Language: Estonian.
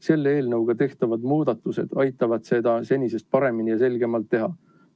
Selle eelnõuga tehtavad muudatused aitavad seda senisest paremini ja selgemalt teha.